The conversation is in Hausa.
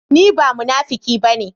Ni ba munafuki ba ne.